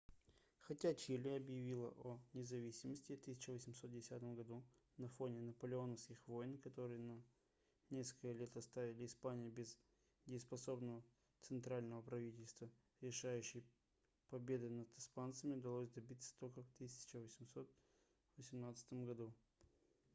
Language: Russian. хотя чили объявило о независимости в 1810 году на фоне наполеоновских войн которые на несколько лет оставили испанию без дееспособного центрального правительства решающей победы над испанцами удалось добиться только в 1818 году